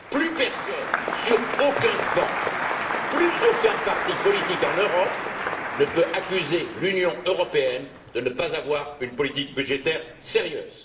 Plus personne, sur aucun banc, plus aucun parti politique en Europe ne peut accuser l'Union européenne de ne pas avoir une politique budgétaire sérieuse!